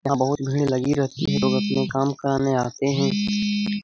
यहाँ बहुत भीड़ लगी रहती है | ये लोग अपने काम कराने आते है ।